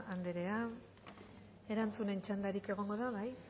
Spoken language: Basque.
anderea erantzunen txandarik egongo da bai